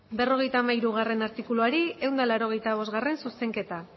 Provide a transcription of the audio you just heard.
berrogeita hamairugarrena artikuluari ehun eta laurogeita bostgarrena zuzenketa